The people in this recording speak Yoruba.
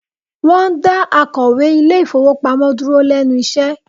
Wọ́n dá akọ̀wé ilé ìfowópamọ́ dúró lẹ́nu iṣẹ́